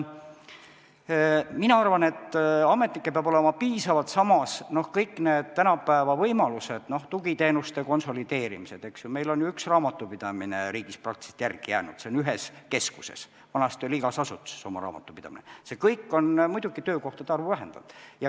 Mina arvan, et ametnikke peab olema piisavalt, samas, kõik need tänapäeva võimalused, tugiteenuste konsolideerimised – meil on ju üks raamatupidamine riigis praktiliselt järele jäänud, see on ühes keskuses, vanasti oli igas asutuses oma raamatupidamine – on muidugi töökohtade arvu vähendanud.